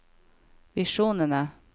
visjonene